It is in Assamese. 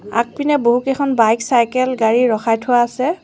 আগপিনে বহুকেইখন বাইক চাইকেল গাড়ী ৰখাই থোৱা আছে।